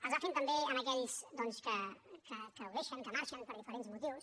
es va fent també a aquells doncs que ho deixen que marxen per diferents motius